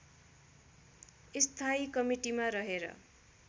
स्थायी कमिटीमा रहेर